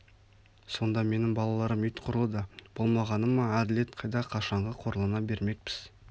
сонда менің балаларым ит құрлы да болмағаны ма әділет қайда қашанғы қорлана бермекпіз